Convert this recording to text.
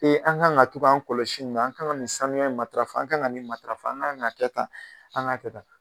Ee an ka kan ka to'an kɔlɔsi ni na, an ka nin sanuya in matarafa an ka kan ka nin matarafa an k'an ka kɛ tan an ka kɛ taa.